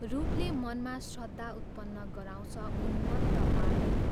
रूपले मनमा श्रद्धा उत्पन्न गराउँछ उन्मत्त पार्दैन।